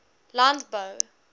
landbou